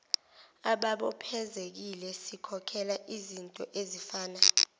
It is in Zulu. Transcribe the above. ababophezekile sikhokhela izintoezifana